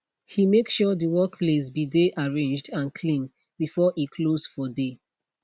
he make sure de workplace be de arranged and clean before e close for dey